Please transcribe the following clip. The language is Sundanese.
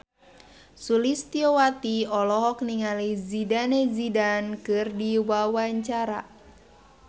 Sulistyowati olohok ningali Zidane Zidane keur diwawancara